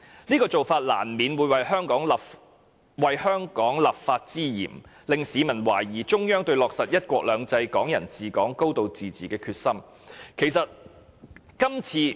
這種做法亦難免有為香港立法之嫌，令市民懷疑中央對落實'一國兩制，港人治港，高度自治'的決心。